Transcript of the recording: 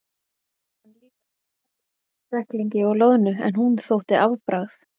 Ég man líka eftir kúfiski, kræklingi og loðnu en hún þótti afbragð.